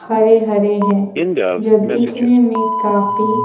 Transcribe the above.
हरे-हरे हैंजो दिखने में काफी--